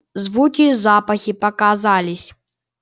звуки и запахи показались